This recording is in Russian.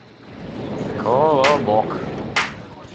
колобок